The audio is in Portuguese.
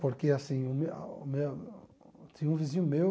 Porque assim o meu o meu, tinha um vizinho meu...